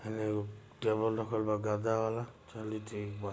बाहर एक टेबल रखा गर्दा है चलो ठीक बा